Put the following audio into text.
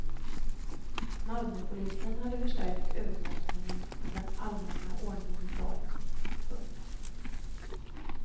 Malmöpolisen hade förstärkt övervakningen av den allmänna ordningen i staden. punkt